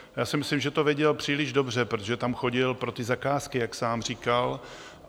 Já si myslím, že to věděl příliš dobře, protože tam chodil pro ty zakázky, jak sám říkal.